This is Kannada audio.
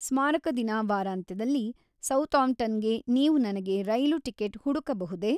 ಸ್ಮಾರಕ ದಿನ ವಾರಾಂತ್ಯದಲ್ಲಿ ಸೌತಾಂಪ್ಟನ್‌ಗೆ ನೀವು ನನಗೆ ರೈಲು ಟಿಕೆಟ್ ಹುಡುಕಬಹುದೇ?